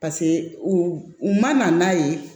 Paseke u u ma na n'a ye